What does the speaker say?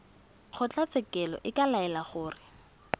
kgotlatshekelo e ka laela gore